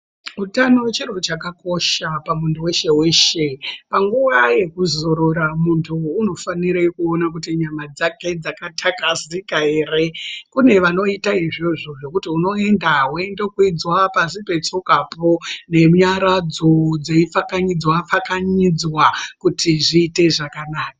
Utano chinhu chakakosha pamuntu weshe weshe. Panguwa yekuzorora muntu unofanire kuone kuti nyama dzake dzakatakazeka ere. Kune vanoite izvozvo zvekuti unoenda woende weindokwidzwa pashi petsokapo nenyaradzo dzeipfakanyidzwa pfakanyidzwa kuti zviite zvakanaka.